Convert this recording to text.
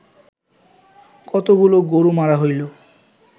কতগুলা গরু মারা হইল